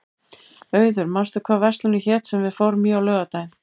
Auður, manstu hvað verslunin hét sem við fórum í á laugardaginn?